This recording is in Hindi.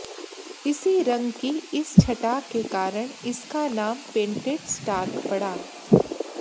इसी रंग की इस छटा के कारण इसका नाम पेन्टेड स्टार्क पड़ा